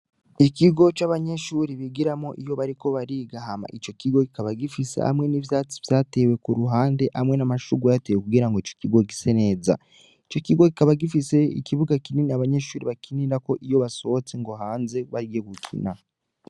Ikigo c’abanyeshure bigiramwo iyo bariko bariga Hama ico kigo kikaba gifise hamwe n’ivyatsi vyatewe kuruhande hamwe n’amashugwe yahatewe kugira ico kigo gise neza. Ico kigo kikaba gifise ikibuga kinini abanyeshure bakinirako iyo basohotse ngo hanze bagiye gukina.